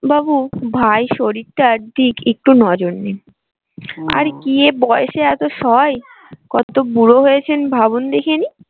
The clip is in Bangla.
বাবু ভাই শরীরটার দিক একটু নজর আর কি এই বয়সে এতো সহায় কত বুড়ো হয়েছেন ভাবুন দেখিনি।